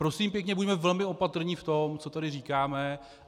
Prosím pěkně, buďme velmi opatrní v tom, co tady říkáme.